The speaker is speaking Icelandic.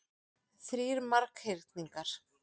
Þrír marghyrningar.